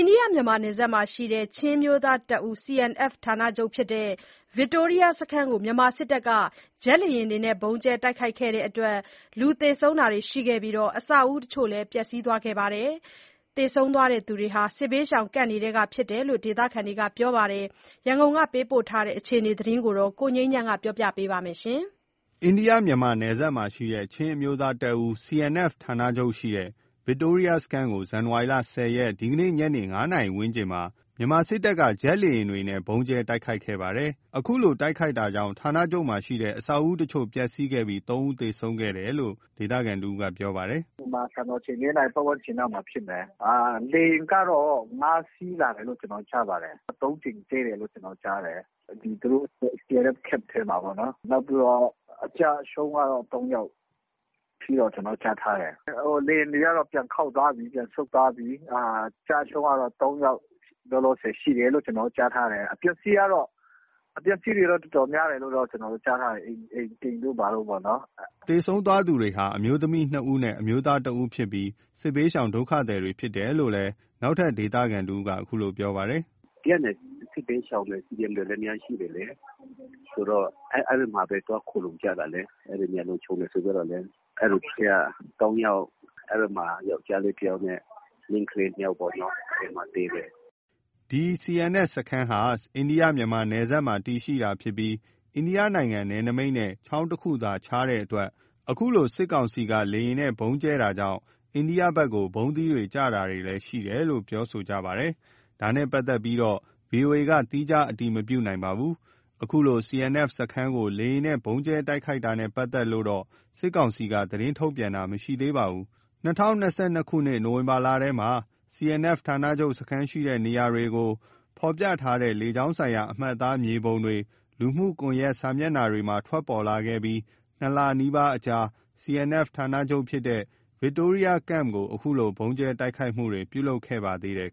န္ဒိယ-မြန်မာနယ်စပ်မှာရှိတဲ့ ချင်းအမျိုးသားတပ်ဦး CNF ဌာနချုပ်ဖြစ်တဲ့ ဗစ်တိုးရီးယားစခန်း (Camp Victoria) ကို မြန်မာစစ်တပ်က ဂျက်လေယာဉ်တွေနဲ့ ဗုံးကြဲတိုက်ခိုက်ခဲ့လို့ လူသေဆုံးတာတွေရှိခဲ့ပြီး အဆောက်အဦးတချို့လည်း ပျက်ဆီးသွားခဲ့ပါတယ်။ သေဆုံးသူတွေဟာ စစ်ဘေးရှောင်စခန်းတွေထဲက ဖြစ်တယ်လို့ ဒေသခံတွေက ပြောပါတယ်။ ရန်ကုန်ကပေးပို့လာတဲ့ အခြေအနေကို ကိုငြိမ်းချမ်းက ပြောပြပါမယ်။ အိန္ဒိယ-မြန်မာ နယ်စပ်မှာရှိတဲ့ ချင်းအမျိုးသားတပ်ဦး CNF ဌာနချုပ်ရှိတဲ့ ဗစ်တိုးရီယားစခန်းကို ဇန်နဝါရီ ၁၀ ရက်၊ ဒီကနေ့ ညနေ ၅ နာရီဝန်းကျင်မှာ မြန်မာစစ်တပ်က ဂျက်လေယာဉ်တွေနဲ့ ဗုံးကြဲတိုက်ခိုက်ခဲ့ပါတယ်။ အခုလို တိုက်ခိုက်တာကြောင့် ဌာနချုပ်မှာရှိတဲ့ အဆောက်အဦးအချို့ ပျက်စီးခဲ့ပြီး ၃ ဦးသေဆုံးခဲ့တယ်လို့ ဒေသခံတဦးကပြောပါတယ်။ “ မြန်မာစံတော်ချိန် ၄ နာရီပတ်ဝန်းကျင်လောက်မှာဖြစ်မယ်။ လေယာဉ်ကတော့ ၅ စီးလာတယ်လို့ ကျွန်တော်တို့ ကြားပါတယ်။ ၃ ကြိမ်ကြဲတယ်လို့ ကျွန်တော်တို့ကြားတယ်။ သူတို့ CNF Camp ထဲမှာပေါ့နော်။ နောက်ပြီးတော့ အကျအဆုံးကတော့ ၃ ယောက်အထိတော့ ကျွန်တော်တို့ကြားထားတယ်။ လေယာဉ်တွေကတော့ ပြန်ခေါက်သွားပြီ၊ ပြန်ဆုတ်သွားပြီ။ အကျအဆုံးကတော့ ၃ ယောက်လောလောဆယ်ရှိတယ်လို့ ကျွန်တော်တို့ကြားထားတယ်။ အပျက်အစီးတွေတော့ တော်တော်များတယ်လို့ ကျွန်တော်တို့ကြားထားတယ်၊ အိမ်တို့ဘာတို့ပေါ့နော်။” သေဆုံးသွားသူတွေဟာ အမျိုးသမီး ၂ ဦးနဲ့ အမျိုးသား ၁ ဦးတို့ဖြစ်ပြီး စစ်ဘေးရှောင် ဒုက္ခသည်တွေဖြစ်တယ်လို့လည် နောက်ထပ် ဒေသခံတဦးကလည်း အခုလို ပြောပါသေးတယ်။ “အဲ့မှာ Camp တွေမှာ စစ်ဘေးရှောင်တွေ အများကြီးရှိတယ်လေ။ အဲ့မှာပဲ သွားခိုလှုံကြတာလေ။ အဲ့နေရာလုံခြုံတယ်ဆိုပြီးတော့လေ။ အဲ့အထဲက ၃ ယောက် ယောက်ကျားလေး ၁ ယောက်နဲ့ မိန်းကလေး ၂ ယောက်ပေါ့ အဲ့မှာသေတယ်။” ဒီ CNF စခန်းဟာ အိန္ဒိယ-မြန်မာနယ်စပ်မှာ တည်ရှိတာဖြစ်ပြီး အိန္ဒိယနိုင်ငံ နယ်နိမိတ်နဲ့ ချောင်းတခုသာခြားတဲ့အတွက် အခုလို စစ်ကောင်စီက လေယာဉ်နဲ့ ဗုံးကြဲတာကြောင့် အိန္ဒိယဘက်ကိုလည်း ဗုံးသီးတွေ ကျတာတွေရှိတယ်လို့လည်း ပြောဆိုနေကြပါတယ်။ ဒါနဲ့ ပတ်သက်လို့တော့ ဗွီအိုအေက သီးခြားအတည်မပြုနိုင်သေးပါဘူး။ အခုလို CNF စခန်းကို လေယာဉ်နဲ့ ဗုံးကြဲတိုက်ခိုက်တာနဲ့ ပတ်သက်လို့တော့ စစ်ကောင်စီက သတင်းထုတ်ပြန်တာ မရှိသေးပါဘူး။ ၂၀၂၂ ခုနှစ်နိုဝင်ဘာလထဲမှာ CNF ဌာနချုပ်စခန်းရှိတဲ့ နေရာတွေကို ဖော်ပြထားတဲ့ လေကြောင်းဆိုင်ရာ အမှတ်အသား မြေပုံတွေ လူမှုကွန်ရက် စာမျက်နှာမှာ ထွက်ပေါ်လာခဲ့ပြီး၂ လ နီးပါးအကြာမှာ CNF ဌာနချုပ်ဖြစ်တဲ့ ဗစ်တိုးရီးယား Camp ကို အခုလို ဗုံးကြဲ တိုက်ခိုက်မှု ပြုလုပ်ခဲ့ပါသေးတယ်